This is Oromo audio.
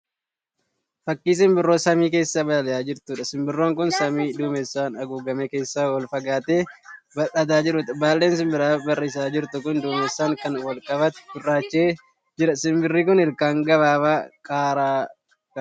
Fakkii simbirroo samii keessa balali'aa jirtuudha. Simbirroon kun samii dumeessaan haguugame keessa ol fagaattee balali'aa jirtuuti. Baalleen simbira barrisaa jirtuu kun duumessaan kan wal qabate gurraacha'ee jira. Simbirri kun ilkaan gabaabaa qara qabdi.